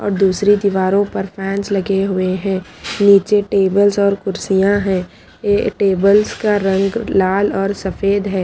और दूसरी दीवारों पर फैंस लगे हुए हैं नीचे टेबल्स और कुर्सियां हैं ये टेबल्स का रंग लाल और सफेद है।